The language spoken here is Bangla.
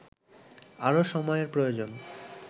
আরও সময়ের প্রয়োজন